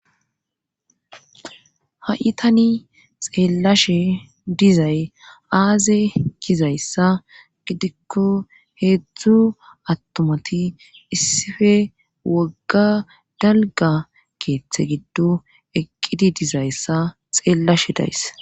ha7itani xeellashe dizay aaze kizayssa gidikko heedzdzu attomati issife wogga dalga keeththe giddo eqqidi dizayssa xeellashe days